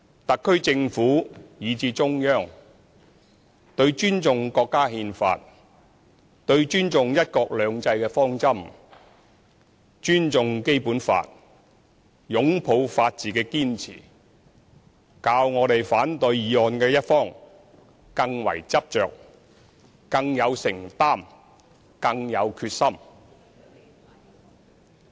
特區政府，以至中央，對尊重國家憲法，對尊重"一國兩制"的方針，尊重《基本法》，擁抱法治的堅持，較反對議案的一方更為執着，更有承擔，更有決心。